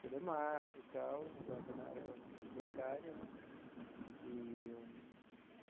Telemarketing e tal, agora está na área bancária, né? Eee eu.